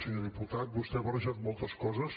senyor diputat vostè ha barrejat moltes coses